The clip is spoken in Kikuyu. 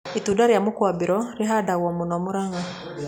Itunda rĩa mũkorobea nirĩhandĩtwo mũno Mũrang'a